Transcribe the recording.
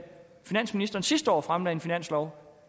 finansministeren sidste år fremlagde en finanslov